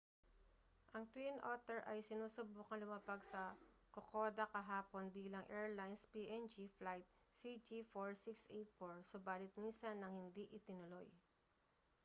ang twin otter ay sinusubukang lumapag sa kokoda kahapon bilang airlines png flight cg4684 subalit minsan nang hindi itinuloy